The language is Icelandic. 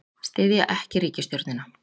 Styðja ekki ríkisstjórnina